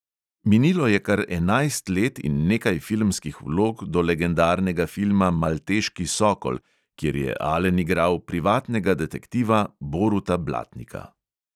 Minilo je kar enajst let in nekaj filmskih vlog do legendarnega filma malteški sokol, kjer je alen igral privatnega detektiva boruta blatnika.